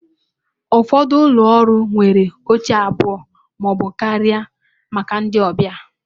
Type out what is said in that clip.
Ụfọdụ ụlọ ọrụ nwere oche abụọ ma ọ bụ karịa maka ndị ọbịa.